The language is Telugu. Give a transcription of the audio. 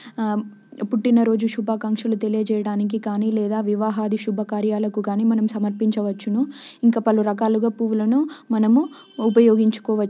ఆ పుట్టినరోజు శుభాకాంక్షలు తెలియజేయడానికి కానీ లేదా వివాహాది శుభకార్యాలకు కానీ మనం సమర్పించవచ్చును ఇంకా పలు రకాలు గా పువ్వులను మనం ఉపయోగించుకోవచ్చు.